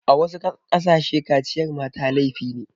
A wasu ƙasashe kaciyar mata laifi ne.